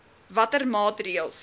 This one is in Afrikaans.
watter maatreëls